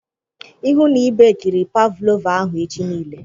Ịhụ na i bekiri pavlova ahụ echi nille